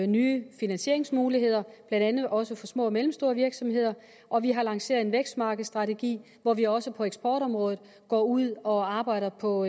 nye finansieringsmuligheder blandt andet også for små og mellemstore virksomheder og vi har lanceret en vækstmarkedsstrategi hvor vi også på eksportområdet går ud og arbejder på